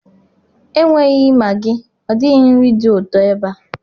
Enweghị Maggi ọ dịghị nri dị ụtọ ebe a.